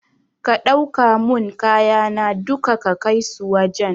Ka ɗauka mun kayana duka ka kaisu wajan